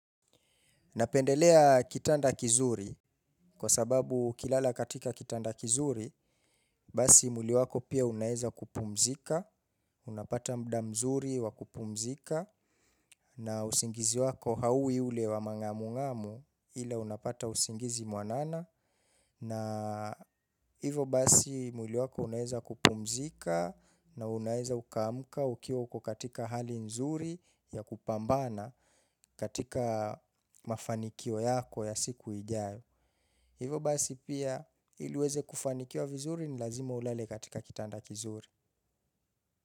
Napendelea kitanda kizuri, kwa sababu ukilala katika kitanda kizuri, basi mwili wako pia unaeza kupumzika, unapata mda mzuri wa kupumzika, na usingizi wako hauwi ule wa mangamungamu ila unapata usingizi mwanana. Na hivyo basi mwili wako unaeza kupumzika na unaeza ukamuka ukiwa uko katika hali nzuri ya kupambana katika mafanikio yako ya siku ijayo. Hivyo basi pia ili uweze kufanikiwa vizuri ni lazima ulale katika kitanda kizuri.